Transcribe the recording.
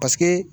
Paseke